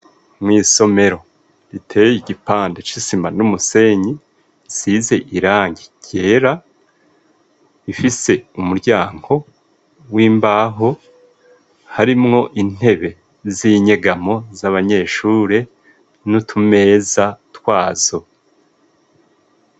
Mu isomero riteye igipande cisima n'umusenyi size irangi yera ifise umuryango w'imbaho harimwo intebe z'inyegamo z'abanyeshuri n'utumeza twazo.